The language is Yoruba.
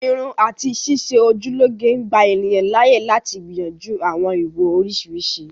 Irun àti ṣíṣe ojú lọ́ge ń gbà ènìyàn láàyè lati gbìyànjú àwọn ìwò oriṣiriṣi